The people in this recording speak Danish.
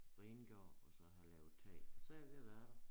Rengjort og så have lavet tag så jeg ved at være der